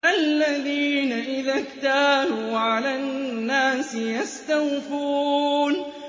الَّذِينَ إِذَا اكْتَالُوا عَلَى النَّاسِ يَسْتَوْفُونَ